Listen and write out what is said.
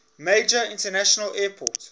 major international airport